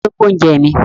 Ta ló gbé oúnjẹ mi?